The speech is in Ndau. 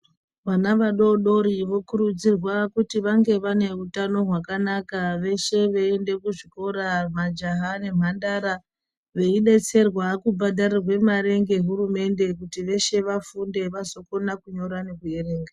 Vana vadodori vokurudzirwa kuti vange vane utano hwakanaka, veshe veienda kuzvikora majaha nemhandara veidetserwa kubhadhairwa mari ngehurumende kuti veshe vafunde vazokona kunyora nekuerenga.